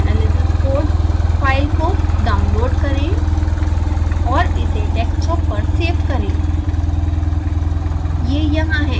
sbhs analysis code file को download करें और इसे डेस्कटॉप पर सेव करें